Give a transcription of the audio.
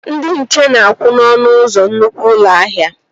Ndị nche na-akwụ n'ọnụ ụzọ nnukwu ụlọ ahịa